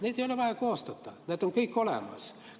Neid ei ole vaja koostada, need on kõik olemas.